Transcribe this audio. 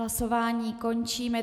Hlasování končím.